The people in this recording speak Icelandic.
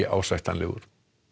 óásættanlegur